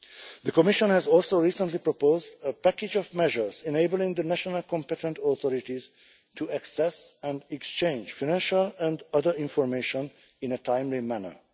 The Commission has also recently proposed a package of measures enabling the national competent authorities to access and exchange financial and other information in a timely manner.